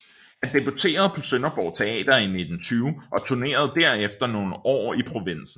Han debuterede på Sønderborg Teater i 1920 og turnerede derefter nogle år i provinsen